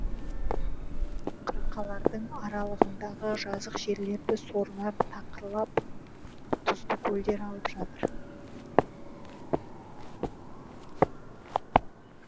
қырқалардың аралығындағы жазық жерлерді сорлар тақырлап тұзды көлдер алып жатыр